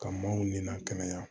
Ka maaw nina kɛnɛya